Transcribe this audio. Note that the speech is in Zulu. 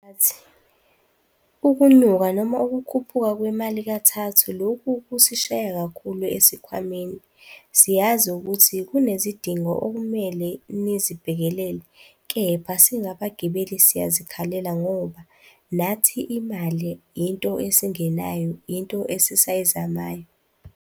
Mphathi, ukunyuka noma ukukhuphuka kwemali kathathu. Lokhu kusishaya kakhulu esikhwameni. Siyazi ukuthi kunezidingo okumele nizibhekelele, kepha singabagibeli siyazikhalela ngoba nathi imali into esingenayo, into esisayizamayo.